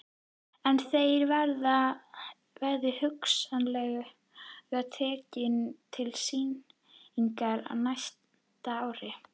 Einn þeirra verði hugsanlega tekinn til sýningar á næsta ári.